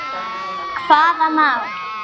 Hún þolir ekkert.